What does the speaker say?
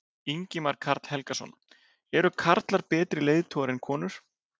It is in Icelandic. Ingimar Karl Helgason: Eru karlar betri leiðtogar en konur?